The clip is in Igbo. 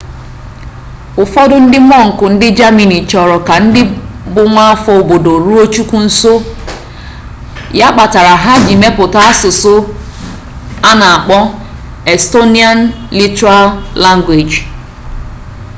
ufodu ndi monk ndi germany choro ka ndi bu nwaafo obodo ruo chukwu nso ya kpatara ha ji meputa asusu ana akpo estonian literal language